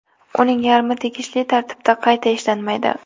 Uning yarmi tegishli tartibda qayta ishlanmaydi.